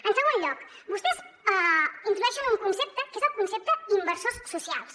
en segon lloc vostès introdueixen un concepte que és el concepte inversors socials